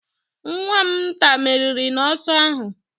Nwa'm nta meriri n'ọsọ ahụ